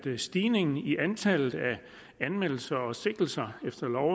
en stigning i antallet af anmeldelser og sigtelser efter lov